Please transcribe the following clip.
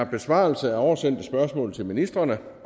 besvarelse af oversendte spørgsmål til ministrene